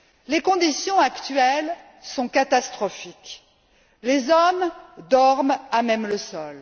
Les conditions actuelles sont catastrophiques les hommes dorment à même le sol